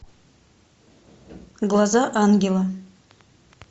глаза ангела